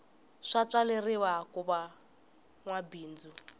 swa tswaleriwa kuva nwa mabindzu